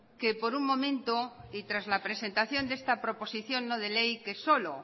que por un momento y tras la presentación de esta proposición no de ley que solo